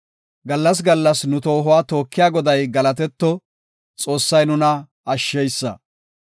Gallas gallas nu toohuwa tookiya Goday galatetto; Xoossay nuna ashsheysa. Salaha